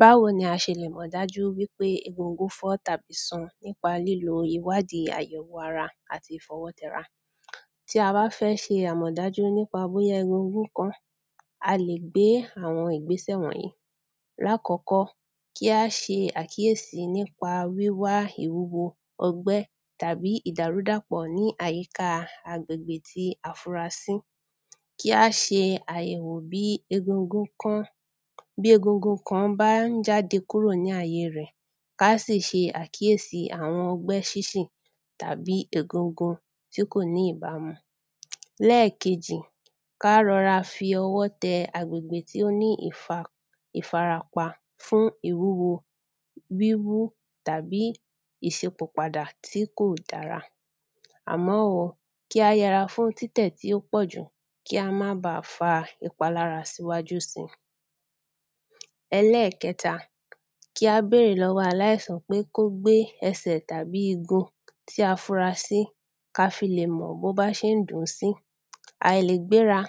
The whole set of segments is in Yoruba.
Báwo ni a ṣe lè mọ̀ dájú wípé egúngún fọ́ tàbí sún nípa lílo ìwádi àyẹ̀wò ara àti ìfọwọ́ tẹra tí a bá fẹ́ ṣe àmọ̀dájú nípa egungun kan, a lè gbé àwọn ìgbésẹ̀ wọ̀nyí lákọ̀ọ́kọ́, kí á ṣe àkíyèsi nípa wíwá ìwúwo ọgbẹ́ tàbí ìdàrúdàpọ̀ ní àyíka agbègbè tí a fura sí kí á ṣe àyẹ̀wò bí egungun kan bá jáde kúrò ní àye rẹ̀, kí á sì ṣe àkíyèsi àwọn ọgbẹ́ sinsin tàbí egungun tí kò ní ìbámu lẹ́ẹ̀kejì, kí á rọra fi ọwọ́ tẹ agbègbè tí ó ní ìfarapa fún ìwúwo, wíwú tàbí ìṣípò padà tí kò dára àmọ́ o, kí á yẹra fún títẹ̀ tí ò pọ̀jù, kí á má baà fa ìpalára síwájú síi ẹlẹ́ẹ̀kẹta, kí á bèèrè lọ́wọ aláìsàn pé kó gbe ẹsẹ tàbí igun tí á fura sí kí a fi lè mọ̀ bí ó bá ṣe ń dùn un sí, àìlègbéra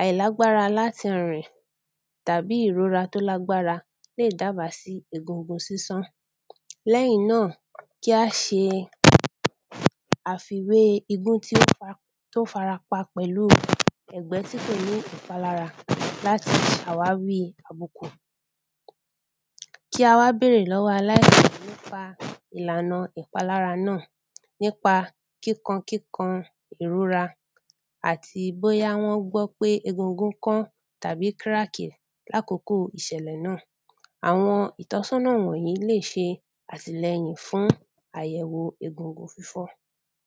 àìlágbára láti rìn tàbí ìrora tó lágbára, lè dáàbá sí egungun sísán lẹ́yìn náà kí á ṣe àfiwé igun tí ó fara pa pẹ̀lú ẹ̀gbẹ́ tí kò ní ìpalára láti ṣe àwáwí àbùkù kí á wá bèèrè lọ́wọ aláìsàn nípa ìlànà ìpalára náà, nípa kíkankíkan, ìrora, àti bóyá wọ́n gbọ́ pé egungun kan àbí kírààkì ní àkókò ìṣẹ̀lẹ̀ náà àwọn ìtọ́sọ̀nà wọ̀nyí lè ṣe àtìlẹ́yìn fún àyẹ̀wo egungun fífọ́